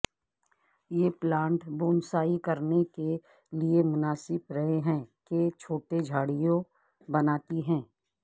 یہ plant bonsai کرنے کے لئے مناسب رہے ہیں کہ چھوٹے جھاڑیوں بناتی ہے